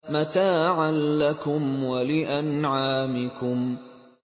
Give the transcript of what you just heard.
مَتَاعًا لَّكُمْ وَلِأَنْعَامِكُمْ